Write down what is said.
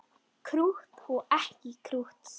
Krútt og ekki krútt.